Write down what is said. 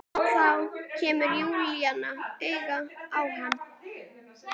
Þá kemur Júlía auga á hana.